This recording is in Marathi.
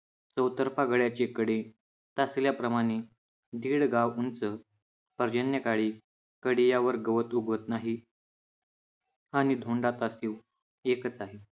चौतर्फा गडाचे कडे टाचल्याप्रमाणे दीड गाव उंच पर्जन्यकाळी कधी यावर गवत उगवत नाही. आणि धोंडा एकच आहे.